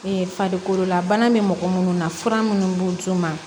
farikololabana bɛ mɔgɔ minnu na fura minnu b'u d'u ma